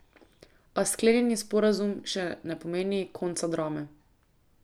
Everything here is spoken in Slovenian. A sklenjeni sporazum še ne pomeni konca drame.